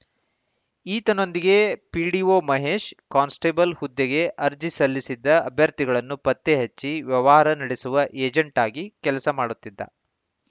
ಈತನೊಂದಿಗೆ PDO Mahesh constable ಹುದ್ದೆಗೆ ಅರ್ಜಿ ಸಲ್ಲಿಸಿದ್ದ ಅಭ್ಯರ್ಥಿಗಳನ್ನು ಪತ್ತೆ ಹಚ್ಚಿ ವ್ಯವಹಾರ ನಡೆಸುವ ಏಜೆಂಟ್‌ ಆಗಿ ಕೆಲಸ ಮಾಡುತ್ತಿದ್ದ